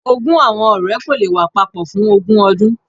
Ogún awọn ọrẹ ko le wa papọ fun ogun ọdun.